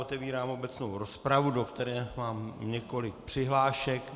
Otevírám obecnou rozpravu, do které mám několik přihlášek.